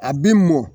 A bi mɔ